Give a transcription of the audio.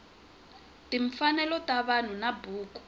timfanelo ta vanhu na buku